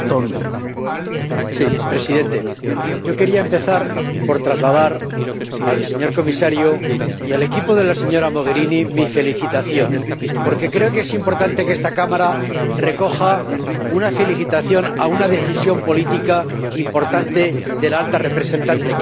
Señor Presidente, yo quería empezar por trasladar al señor Comisario y al equipo de la señora Mogherini mi felicitación, porque creo que es importante que esta Cámara dedique una felicitación a una decisión política importante de la Alta Representante, que fue ir a Cuba.